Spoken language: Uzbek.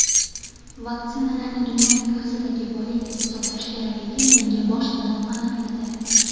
Vaksinalarni dunyo miqyosidagi boylik deb hisoblash kerakligi menga boshidanoq aniq edi.